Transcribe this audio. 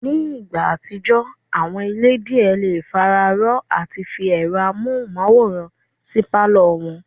Ní ìgbà àtijọ́, àwọn ilé díẹ̀ le fararọ́ọ àti fi ẹ̀rọ amóhùnmáwòrán sí pálọ̀ wọn